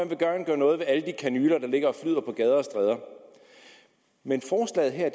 vil gerne gøre noget ved alle de kanyler der ligger og flyder på gader og stræder men forslaget her